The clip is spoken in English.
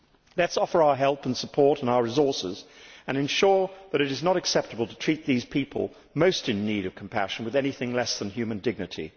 Let us offer our help, support and resources and ensure that it is not acceptable to treat these people most in need of compassion with anything less than human dignity.